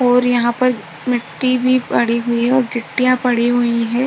और यहां पर मिट्टी भी पड़ी हुई है और गिट्टीया पड़ी हुई है।